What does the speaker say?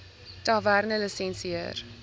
tavernelisensier